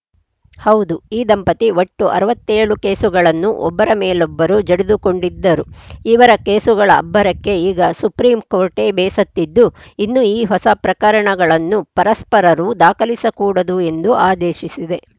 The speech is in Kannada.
ಹೌದು ಈ ದಂಪತಿ ಒಟ್ಟು ಅರವತ್ತ್ ಏಳು ಕೇಸುಗಳನ್ನು ಒಬ್ಬರ ಮೇಲೊಬ್ಬರು ಜಡಿದುಕೊಂಡಿದ್ದರು ಇವರ ಕೇಸುಗಳ ಅಬ್ಬರಕ್ಕೆ ಈಗ ಸುಪ್ರೀಂ ಕೋರ್ಟೇ ಬೇಸತ್ತಿದ್ದು ಇನ್ನು ಹೊಸ ಪ್ರಕರಣಗಳನ್ನು ಪರಸ್ಪರರು ದಾಖಲಿಸಕೂಡದು ಎಂದು ಆದೇಶಿಸಿದೆ